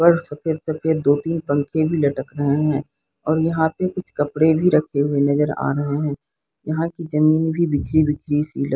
पर सफेद-सफेद दो तीन पंखे भी लटक रहे है और यहां पे कुछ कपड़े भी रखे हुए नजर आ रहे है यहां की जमीन भी बिखरी-बिखरी सी लग --